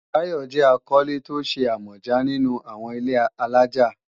Tayo jẹ́ akọ́lé tó ṣe àmọ̀já nínú àwọn ilé-alájà